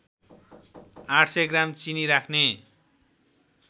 ८०० gram चिनी राख्ने